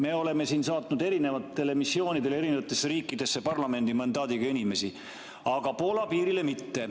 Me oleme parlamendi mandaadiga saatnud oma inimesi erinevatele missioonidele eri riikidesse, aga Poola piirile mitte.